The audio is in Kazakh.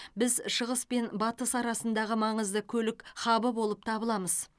біз шығыс пен батыс арасындағы маңызды көлік хабы болып табыламыз